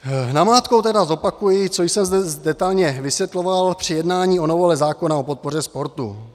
Namátkou tedy zopakuji, co jsem zde detailně vysvětloval při jednání o novele zákona o podpoře sportu.